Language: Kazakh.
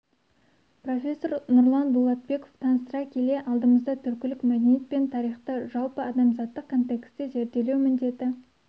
профессор нұрлан дулатбеков таныстыра келе алдымызда түркілік мәдениет пен тарихты жалпы адамзаттық контекстте зерделеу міндеті